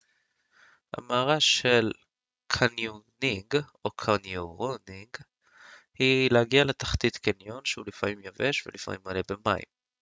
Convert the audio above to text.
המארה של קניונינג או: קניונירינג היא להגיע לתחתית קניון שהוא לפעמים יבש ולפעמים מלא במים